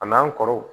A n'an kɔrɔw